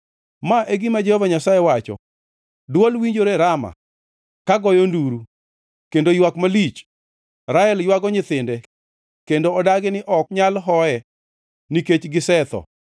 Ma e gima Jehova Nyasaye wacho: “Dwol winjore Rama, ka goyo nduru, kendo ywak malich, Rael ywago nyithinde kendo odagi ni ok nyal hoye, nikech gisetho.”